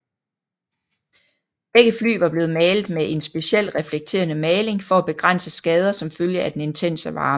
Begge fly var blevet malet med en speciel reflekterende maling for at begrænse skader som følge af den intense varme